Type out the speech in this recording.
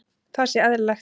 Það sé eðlilegt.